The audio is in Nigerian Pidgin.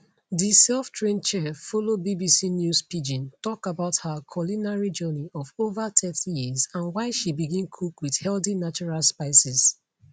di selftrained chef follow bbc news pidgin tok about her culinary journey of ova thirty years and why she begin cook wit healthy natural spices